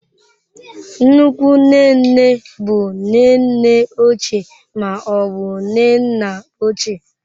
Nnukwu nne nne bụ nne nne ochie ma ọ bụ nne nna ochie.